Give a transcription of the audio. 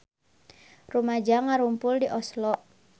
Rumaja ngarumpul di Oslo